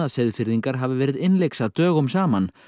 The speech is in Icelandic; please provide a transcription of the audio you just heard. Seyðfirðingar hafi verið innlyksa dögum saman